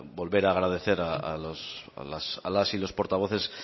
volver a agradecer a las y los portavoces